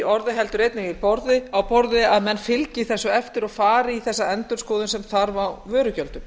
orði heldur einnig á borði að menn fylgi þessu eftir og fari í þessa endurskoðun sem þarf á vörugjöldum